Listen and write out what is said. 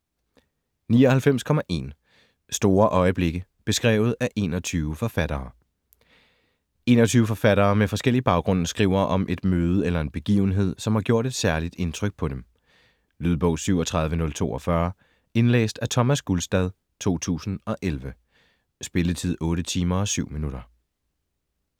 99.1 Store øjeblikke: beskrevet af 21 forfattere 21 forfattere med forskellig baggrund skriver om et møde eller en begivenhed, som har gjort et særligt indtryk på dem. Lydbog 37042 Indlæst af Thomas Gulstad, 2011. Spilletid: 8 timer, 7 minutter.